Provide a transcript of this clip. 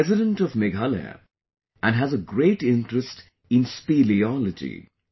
He is a resident of Meghalaya and has a great interest in speleology